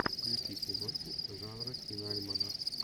включи киношку жанра киноальманах